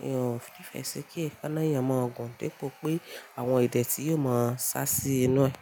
N ò nífẹ́ si kí ekáná èèyàn mọ́o gùn depo pé àwọn ìdẹ̀tí yóò máa sá sí inú ẹ.